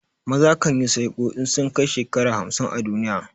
Maza kan yi sinƙo in sun kai shekara hamsin a duniya.